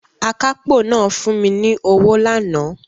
Akápò náà fún mi ní owó lánàá